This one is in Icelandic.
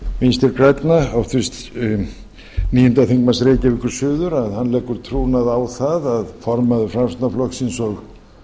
vinstri grænna háttvirtur níundi þingmaður reykv að hann leggur trúnað á það að formaður framsóknarflokksins og